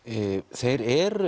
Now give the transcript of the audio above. þeir eru